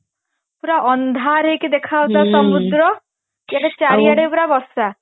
ପୁରା ଅନ୍ଧାର ହେଇକି ଦେଖା ଯାଉଥିଲା ସମୁଦ୍ର କିନ୍ତୁ ଚାରି ଆଡେ ପୁରା ବର୍ଷା